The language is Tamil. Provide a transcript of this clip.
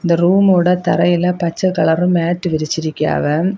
இந்த ரூமோட தரையில பச்சை கலர் மேட் விரிச்சி இருக்காக.